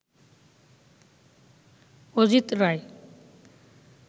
Ajit Roy